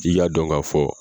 I Ka dɔn ka fɔ